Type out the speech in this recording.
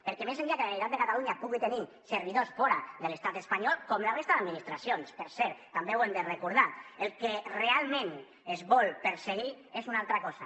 perquè més enllà que la generalitat de catalunya pugui tenir servidors fora de l’estat espanyol com la resta d’administracions per cert també ho hem de recordar el que realment es vol perseguir és una altra cosa